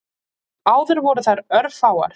Áður voru þær örfáar.